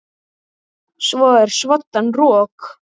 Það er svoddan rok.